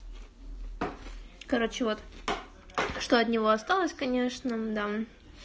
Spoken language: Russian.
короче вот что от него осталось конечно да